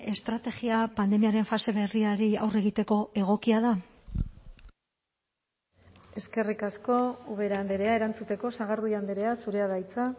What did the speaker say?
estrategia pandemiaren fase berriari aurre egiteko egokia da eskerrik asko ubera andrea erantzuteko sagardui andrea zurea da hitza